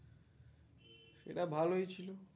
সেটা ভালোই ছিলো